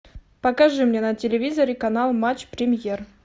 покажи мне на телевизоре канал матч премьер